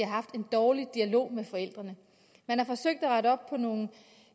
har haft en dårlig dialog med forældrene man har forsøgt at rette op på nogle